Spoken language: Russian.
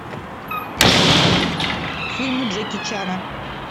фильмы джеки чана